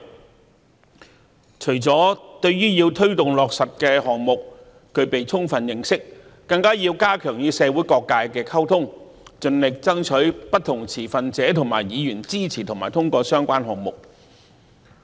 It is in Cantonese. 公務員除了要對推動落實的項目具備充分認識，更加要加強與社會各界的溝通，盡力爭取不同持份者和議員的支持和通過相關項目。